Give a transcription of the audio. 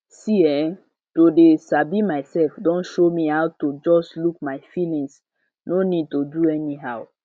see[um]to dey sabi myself don show me how to just look my feeling no need to do anyhow